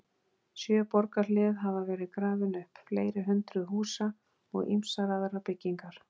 Sjö borgarhlið hafa verið grafin upp, fleiri hundruð húsa og ýmsar aðrar byggingar.